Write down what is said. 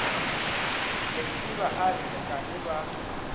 lesiba a re nkane ba